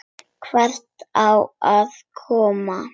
Hvert á ég að koma?